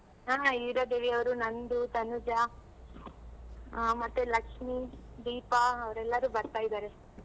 ಹ ಹೀರದೇವಿ ಅವ್ರು ನಂದು ತನುಜ, ಆ ಮತ್ತೆ ಲಕ್ಷ್ಮಿ, ದೀಪ ಅವ್ರ್ ಎಲ್ಲಾರು ಬರ್ತಾ ಇದಾರೆ.